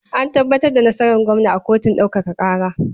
An tabbatar da nasarar gwamna a kotun ɗaukaka ƙara.